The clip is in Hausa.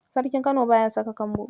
Sarkin Kano baya saka kambo